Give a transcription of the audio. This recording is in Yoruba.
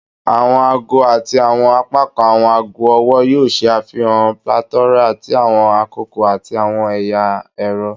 Awọn aago ati awọn apakan awọn aago ọwọ yoo ṣe afihan plethora ti awọn akoko ati awọn ẹya ẹrọ